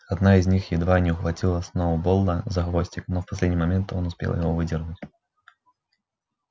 одна из них едва не ухватила сноуболла за хвостик но в последний момент он успел его выдернуть